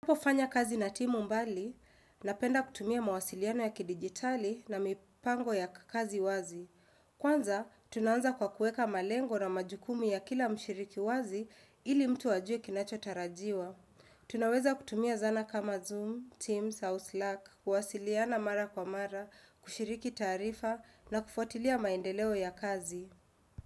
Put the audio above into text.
Ninapofanya kazi na timu mbali, napenda kutumia mawasiliano ya kidijitali na mipango ya kazi wazi. Kwanza, tunaanza kwa kuweka malengo na majukumu ya kila mshiriki wazi ili mtu ajue kinacho tarajiwa. Tunaweza kutumia zana kama Zoom, Teams, Southluck, kuwasiliana mara kwa mara, kushiriki taarifa na kufuatilia maendeleo ya kazi.